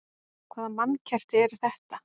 Hvaða mannkerti er þetta?